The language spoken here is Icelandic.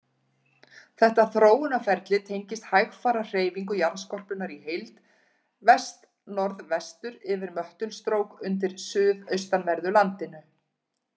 Þetta þróunarferli tengist hægfara hreyfingu jarðskorpunnar í heild vestnorðvestur yfir möttulstrók undir suðaustanverðu landinu.